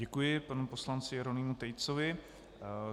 Děkuji panu poslanci Jeronýmu Tejcovi.